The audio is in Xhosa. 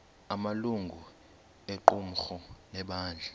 amalungu equmrhu lebandla